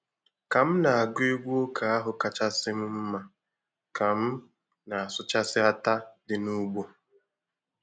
Ka m na-agụ egwu ụka ahụ kachasị m mma ka m na-asụchasị átá dị n'ugbo.